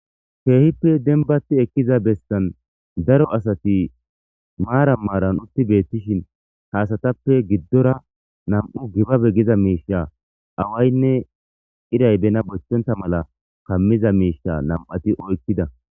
Keehippe denibati ekkiza bessani daro asati maranni maranni utti betishshin haa asatappe gidora nam''u tibabe gizo mishsha awayinne irayi bena bochchonntta mala kamida misha nam'ati oyikkida .